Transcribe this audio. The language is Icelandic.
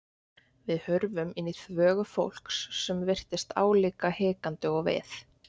Við hurfum inn í þvögu fólks sem virtist álíka hikandi og við.